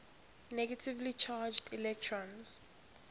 negatively charged electrons